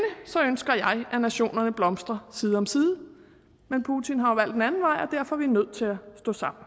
ønsker jeg at nationerne blomstrer side om side men putin har jo valgt en anden vej og derfor er vi nødt til at stå sammen